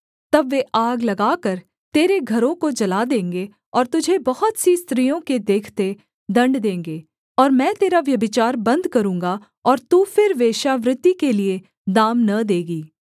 तब वे आग लगाकर तेरे घरों को जला देंगे और तुझे बहुत सी स्त्रियों के देखते दण्ड देंगे और मैं तेरा व्यभिचार बन्द करूँगा और तू फिर वेश्यावृत्ति के लिये दाम न देगी